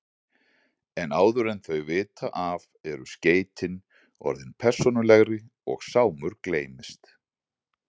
En áður en þau vita af eru skeytin orðin persónulegri og Sámur gleymist.